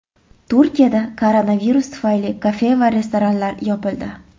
Turkiyada koronavirus tufayli kafe va restoranlar yopildi.